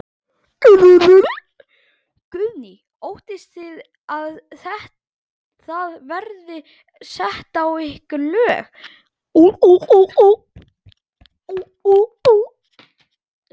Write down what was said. Guðný: Óttist þið að það verði sett á ykkur lög?